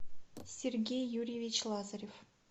сергей юрьевич лазарев